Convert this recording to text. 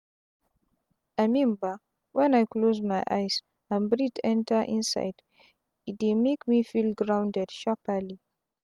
i mean bah wen i close my eyes and breathe enta inside e dey make me feel grounded sharpali.